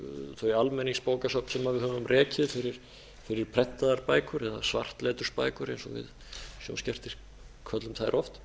þau almenningsbókasöfn sem við höfum rekið fyrir prentaðar bækur eða svartletursbækur eins og við köllum þær oft